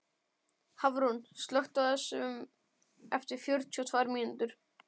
Hafrún, slökktu á þessu eftir fjörutíu og tvær mínútur.